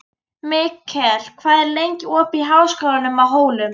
Mikkel, hvað er lengi opið í Háskólanum á Hólum?